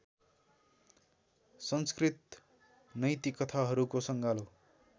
संस्कृत नैतिकथाहरूको सँगालो